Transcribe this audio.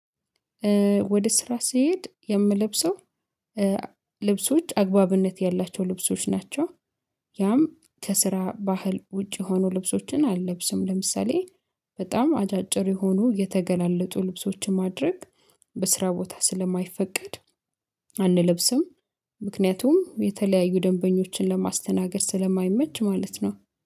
ወደ ስራ ስሄድ የምለብሰው ልብሶች አግባብነት ያላቸው ልብሶች ናቸው። ያም ከስራ ባህል ውጪ የሆኑ ልብሶችን አልለብስም። ለምሳሌ በጣም አጫጭር የሆኑ የተገላለጡ ልብሶችን ማድረግ በስራ ቦታ ስለማይፈቀድ አንለብስም። ምክንያቱም የተለያዩ ደንበኞችን ለማስተናገድ ስለማይመች ማለት ነው